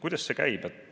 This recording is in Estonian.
Kuidas see käib?